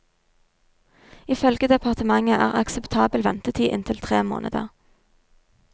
Ifølge departementet er akseptabel ventetid inntil tre måneder.